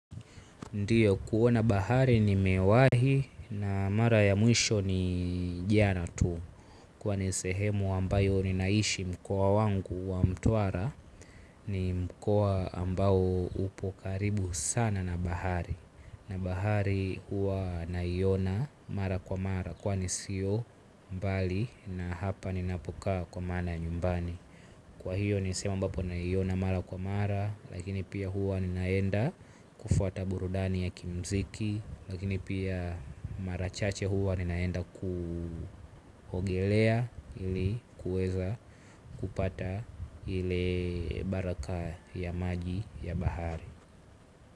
Ndiyo kuona bahari nimewahi na mara ya muisho ni jana tu. Kwani sehemu ambayo ninaishi mkoa wangu wa mtuara ni mkoa ambao upo karibu sana na bahari. Na bahari hua naiona mara kwa mara kwani siyo mbali na hapa ninapokaa kwa mana nyumbani. Kwa hiyo nisehemu ambapo nahiyona mara kwa mara. Lakini pia huwa ninaenda kufuata burudani ya kimziki. Lakini pia marachache huwa ninaenda kuhogelea ili kueza kupata ile baraka ya maji ya bahari.